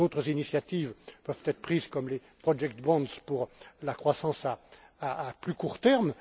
D'autres initiatives peuvent être prises, comme les project bonds pour la croissance à plus court terme.